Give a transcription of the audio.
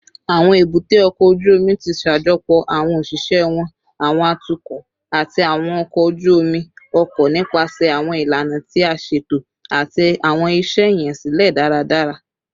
Awọn ebute oko oju omi ti ṣajọpọ awọn oṣiṣẹ wọn, awọn atukọ, ati awọn ọkọ oju-omi ọkọ nipasẹ awọn ilana ti a ṣeto ati awọn iṣẹ iyansilẹ daradara